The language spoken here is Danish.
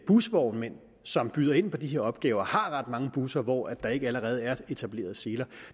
busvognmænd som byder ind på de her opgaver har ret mange busser hvor der ikke allerede er etableret seler